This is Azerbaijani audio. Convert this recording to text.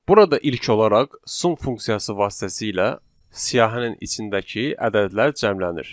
Burada ilk olaraq sum funksiyası vasitəsilə siyahının içindəki ədədlər cəmlənir.